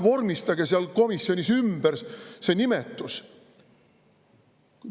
Vormistage vähemalt seal komisjonis see nimetus ümber.